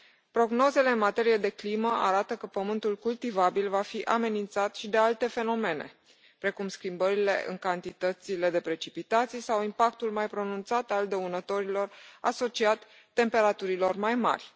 Prognozele în materie de climă arată că pământul cultivabil va fi amenințat și de alte fenomene, precum schimbările în cantitățile de precipitații sau impactul mai pronunțat al dăunătorilor asociat temperaturilor mai mari.